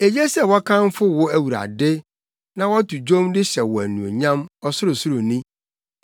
Eye sɛ wɔkamfo wo Awurade na wɔto dwom de hyɛ wo anuonyam, Ɔsorosoroni,